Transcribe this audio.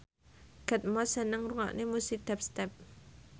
Kate Moss seneng ngrungokne musik dubstep